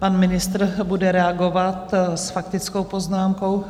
Pan ministr bude reagovat s faktickou poznámkou.